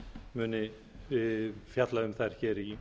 muni fjalla um þær hér í